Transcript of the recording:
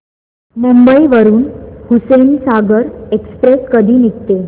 मुंबई वरून हुसेनसागर एक्सप्रेस कधी निघते